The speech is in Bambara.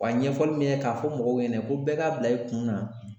Wa ɲɛfɔli min kɛ k'a fɔ mɔgɔw ɲɛna ko bɛɛ k'a bila i kun na